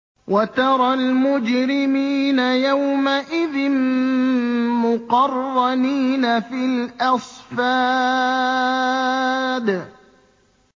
وَتَرَى الْمُجْرِمِينَ يَوْمَئِذٍ مُّقَرَّنِينَ فِي الْأَصْفَادِ